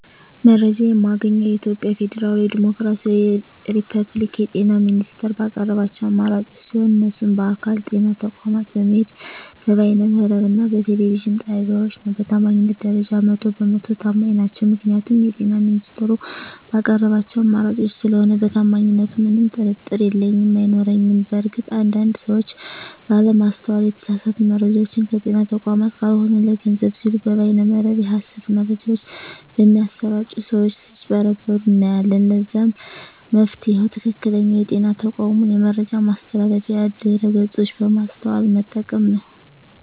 መረጃ የማገኘዉ የኢትዮጵያ ፌደራላዊ ዲሞክራሲያዊ የፐብሊክ የጤና ሚኒስቴር ባቀረባቸዉ አማራጮች ሲሆን እነሱም በአካል (ጤና ተቋማት በመሄድ)፣ በበይነ መረብ እና በቴሌቪዥን ጣቢያወች ነዉ። በታማኝነት ደረጃ 100 በ 100 ተማኝ ናቸዉ ምክንያቱም የጤና ሚኒስቴሩ ባቀረባቸዉ አማራጮች ስለሆነ በታማኝነቱ ምንም ጥርጥር የለኝም አይኖረኝም። በእርግጥ አንድ አንድ ሰወች ባለማስተዋል የተሳሳቱ መረጃወችን ከጤና ተቋማት ካልሆኑ ለገንዘብ ሲሉ በበይነ መረብ የሀሰት መረጃወች በሚያሰራጪ ሰወች ስጭበረበሩ እናያለን ለዛም መፍትሄዉ ትክክለኛዉ የጤና ተቋሙን የመረጃ ማስተላለፊያ ድረገፆች በማስተዋል መጠቀም ነዉ።